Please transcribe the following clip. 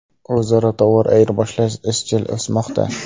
O‘zaro tovar ayirboshlash izchil o‘smoqda.